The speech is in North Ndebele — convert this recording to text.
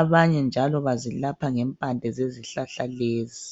abanye njalo bazelapha ngempande zezihlahla lezi.